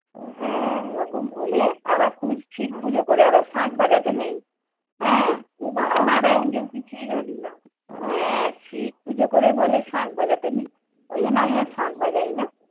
হ্যাঁ এরকম বলে আবার শিব পুজো করে আবার শাখ বাজাতে নেই। হ্যাঁ এর শিব পুজো করে বলে শাখ বাজাতে নেই। ওইজন্য আমি আর শাখ বাজাই না।